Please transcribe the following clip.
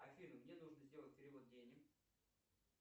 афина мне нужно сделать перевод денег